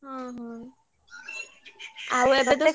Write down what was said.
ହଁ ହଁ ଆଉ ଏବେ ତ ସବୁ।